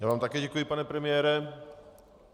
Já vám také děkuji, pane premiére.